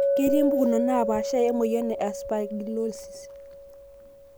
ketii pukunot napashaa emoyian e aspergillosis.